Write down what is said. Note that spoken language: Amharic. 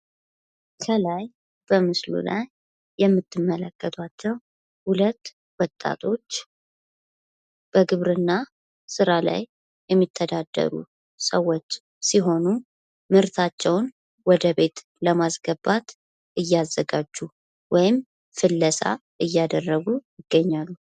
ከላይ በምስሉ ላይ የምትመለከቷቸው ሁለት ወጣቶች በግብርና ስራ ላይ የሚተዳደሩ ሰዎች ሲሆኑ ምርታቸውን ወደ ቤት ለማስገባት እያዘጋጁ ወይም ፍለሳ እያደረጉ ይገኛሉ።